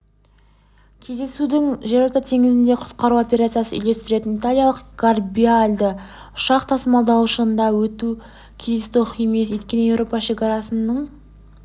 кездесудің жерорта теңізіндегі құтқару операциясын үйлестіретін италиялық гарибальди ұшақ тасымалдағышында өтуі кездейсоқ емес өйткені еуропа шекарасының